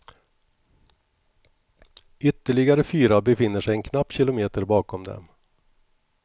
Ytterligare fyra befinner sig en knapp kilometer bakom dem.